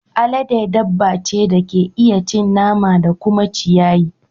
Alade dabba ce da ke iya cin nama da kuma ciyayi.